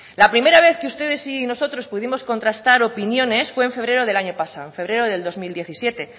la primera vez que ustedes y nosotros pudimos contrastar opiniones fue en febrero del año pasado en febrero del dos mil diecisiete